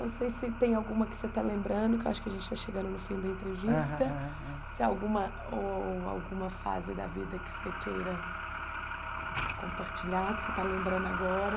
Não sei se tem alguma que você está lembrando, que eu acho que a gente está chegando no fim da entrevista aham aham, se alguma ou ou alguma fase da vida que você queira compartilhar, que você está lembrando agora.